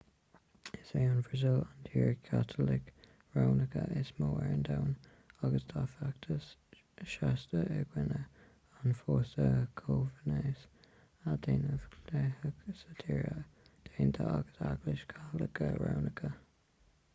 is í an bhrasaíl an tír chaitliceach rómhánach is mó ar domhan agus tá feachtas seasta i gcoinne an phósta comhghnéis a dhéanamh dleathach sa tír déanta ag an eaglais chaitliceach rómhánach